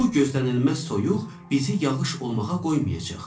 Bu gözlənilməz soyuq bizi yağış olmağa qoymayacaq.